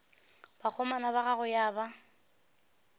bakgomana ba gagwe ya ba